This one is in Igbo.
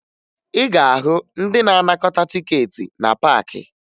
Ị ga-ahụ ndị na-anakọta tikeeti na paakị